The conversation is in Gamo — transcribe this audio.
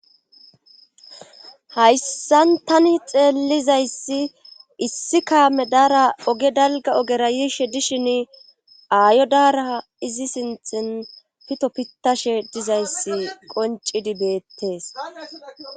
Hayssan tani xeellizayssi issi kaame daara oge dalga ogera yiishe dishin aayo daara izi sinxin pito pitashe dizayssi qoncidi beettees.